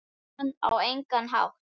Jóhann: Á engan hátt?